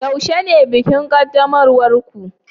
yaushe ne bikin qaddamarwar ku